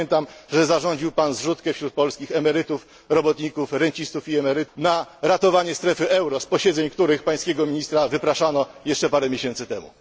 Zapamiętam, że zarządził Pan zrzutkę wśród polskich emerytów, robotników i rencistów na ratowanie strefy euro, z posiedzeń której Pańskiego ministra wypraszano jeszcze parę miesięcy temu.